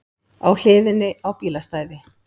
Á hliðinni á bílastæði